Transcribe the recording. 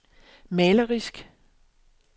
malerisk